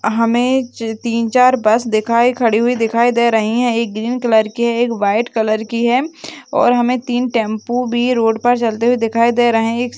हमें तीन चार बस दिखाएं खड़ी हुई दिखाई दे रही है एक ग्रीन कलर की है एक वाइट कलर की है और हमें तीन टेंपो भी रोड पर चलते हुए दिखाई दे रहें हैं एक--